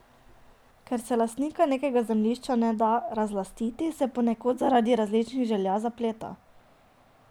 Ker se lastnika nekega zemljišča ne da razlastiti, se ponekod zaradi različnih želja zapleta.